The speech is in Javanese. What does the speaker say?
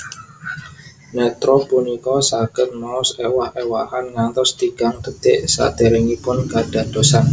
Nétra punika saged maos ewah ewahan ngantos tigang detik saderengipun kadadosan